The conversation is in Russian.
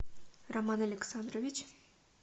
роман александрович